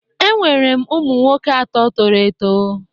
Enwere m ụmụ nwoke atọ toro eto